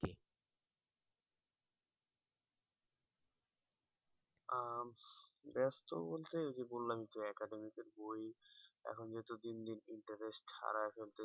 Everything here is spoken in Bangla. আহ ব্যস্ত বলতে ওই যে বললাম তো academic এর বই এখন যেহেতু দিন দিন interest হারায় ফেলতেছি